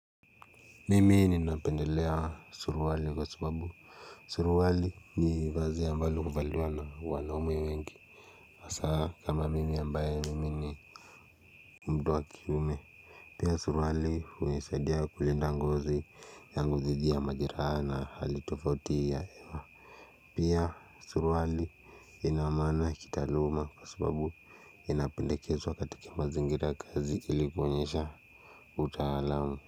Mimi ninapendelea suruali kwa sababu suruali ni vazi ambalo kuvaliwana wanaume wengi hasa kama mimi ambaye mimi ni mtu wa kiume pia suruali hunisaidia kulinda ngozi yangu dhidi ya majeraha na hali tofauti ya pia suruali ina maana kitaluma kwa sababu inapendekezwa katika mazingira ys kazi ilikuonyesha utaalam.